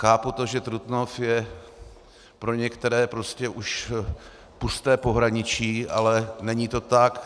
Chápu to, že Trutnov je pro některé prostě už pusté pohraničí, ale není to tak.